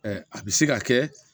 a bɛ se ka kɛ